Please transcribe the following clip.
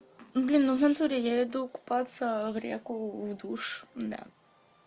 блин ну в натуре я иду купаться в реку в душ да